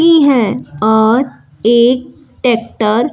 की है और एक टैक्टर --